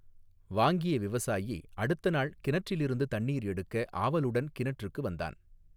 வாங்கிய விவசாயி அடுத்த நாள் கிணற்றிலிருந்து தண்ணீர் எடுக்க ஆவலுடன் கிணற்றுக்கு வந்தான்.